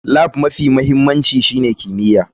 Lab mafi mahimmanci shine kimiyya.